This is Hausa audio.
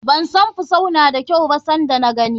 Ban san fusau na da kyau ba san da na gani.